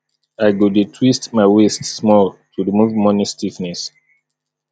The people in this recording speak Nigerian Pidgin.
i go dey twist my waist small to remove morning stiffness